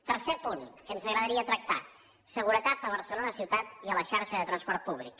tercer punt que ens agradaria tractar seguretat a barcelona ciutat i a la xarxa de transport públic